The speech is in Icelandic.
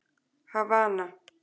Havana